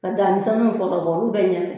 Ka da misɛninw fɔlɔ bɔ olu bɛ ɲɛfɛ